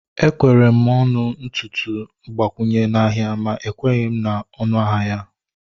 Ekwere m ọnụ ntutu mgbakwunye n'ahia ma ekweghị m na onu ahịa ya